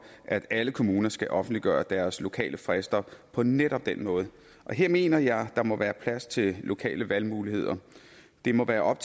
at alle kommuner skal offentliggøre deres lokale frister på netop den måde her mener jeg at der må være plads til lokale valgmuligheder det må være op